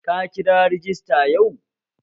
Ka kira rajista yau?